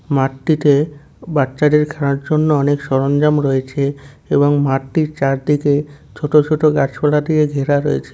মাঠটিতে বাচ্চাদের খেলার জন্য অনেক সরঞ্জাম রয়েছে এবং মাঠটির চারদিকে ছোট ছোট গাছপালা দিয়ে ঘেরা রয়েছে।